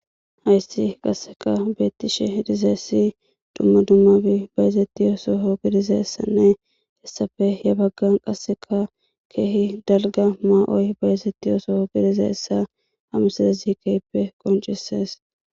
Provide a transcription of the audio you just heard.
Hayssi qaseka beetishe dizaysidumma dummabi bayzetiya soho gidizayssanne hessappe he baggan qaseka keehi dalgga ma'oy bayzetiyaso be'zayssa ha misilezi keehippe qonccisees.